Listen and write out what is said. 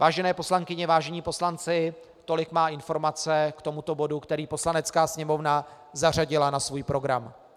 Vážené poslankyně, vážení poslanci, tolik má informace k tomuto bodu, který Poslanecká sněmovna zařadila na svůj program.